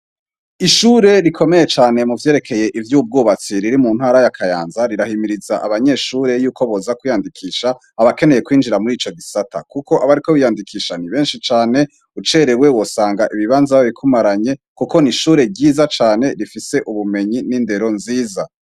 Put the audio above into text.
Ishure rikomeye cane mu vyerekeye ivy'ubwubatsi riri mu ntara ya kayanza, rirahimiriz' abanyeshure y'uko boza kwiyandikisha, abakeneye kwinjira mur' ico gisata kuk' abariko biyandikisha ni benshi cane kuko n' ishure ryiza cane rifis' ubumenyi n'indero nziza, kandi bafise n' ibikoresho bigezweho, har' abagabo n' abagore bambay'ibisarubeti vy irabura, kuruhome har' amadirisha menshi n' amatara bitang' umuc' uhagije, kuruhome hasiz' irangi ryera har' ivyuma bishinze bigeretsek' imbah' ariho bakorer' imirim' itandukanye.